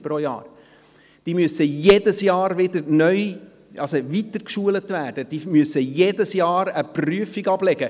Sie müssen jedes Jahr weitergebildet werden, sie müssen jedes Jahr eine Prüfung ablegen.